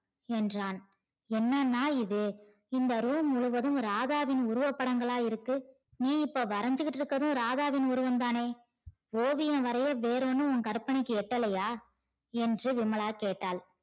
என்றான் என்னனா இது இந்த room முழுவதும் ராதாவின் உருவ படங்களா இருக்கு நீ இப்ப வரஞ்சிகிட்டு இருக்கறதும் ராதாவின் உருவம் தானே ஓவியம் வரைய வேறொன்னும் உன் கற்பனைக்கு எட்டலையா என்று விமலா கேட்டால்